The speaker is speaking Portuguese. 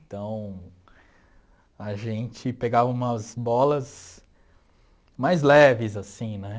Então, a gente pegava umas bolas mais leves, assim, né?